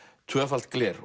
tvöfalt gler